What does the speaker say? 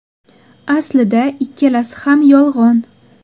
Aslida ikkalasi ham yolg‘on.